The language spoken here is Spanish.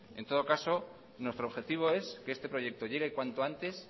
en todo caso nuestro objetivo es que este proyecto llegue cuanto antes